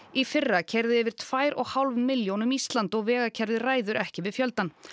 í fyrra keyrðu yfir tvær og hálf milljón um Ísland og vegakerfið ræður ekki við fjöldann